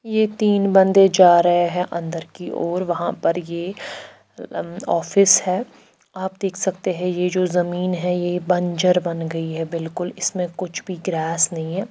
ये तिन बन्दे जा रहे है अन्दर की और वहा पर ये अम्म ऑफिस है आप देख सकते है ये जो जमीन है ये बंजर बन गई है बिलकुल इसमें कुछ भी ग्रास नई है।